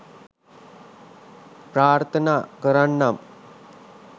ප්‍රාර්ථනා කරන්නම්.